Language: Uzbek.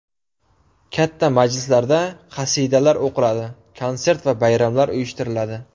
Katta majlislarda qasidalar o‘qiladi, konsert va bayramlar uyushtiriladi.